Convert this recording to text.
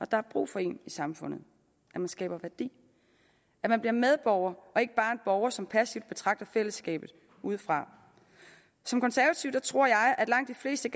der er brug for en i samfundet man skaber værdi og man bliver medborger og ikke bare en borger som passivt betragter fællesskabet udefra som konservativ tror jeg at langt de fleste